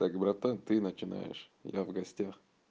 так братан ты начинаешь я в гостях